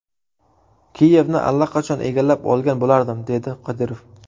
Kiyevni allaqachon egallab olgan bo‘lardim”, dedi Qodirov.